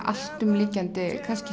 alltumlykjandi kannski